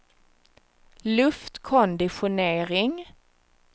luftkonditionering